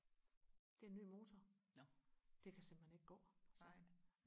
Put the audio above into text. det er en ny motor det kan simpelthen ikke gå sagde han